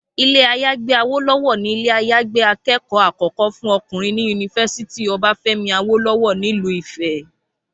Ilé-àyágbé Awólọ́wọ̀ ni ilé-àyágbé akẹ́kọ̀ọ́ àkọ́kọ́ fún ọkùnrin ní yunifásítì Ọbáfẹ́mi Awólọ́wọ̀ nílùú Ifẹ̀